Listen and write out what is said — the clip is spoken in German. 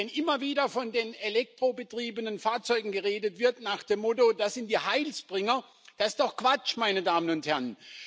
Und wenn immer wieder von den elektrobetriebenen Fahrzeugen geredet wird nach dem Motto Das sind die Heilsbringer Das ist doch Quatsch, meine Damen und Herren!